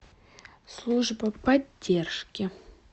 служба поддержки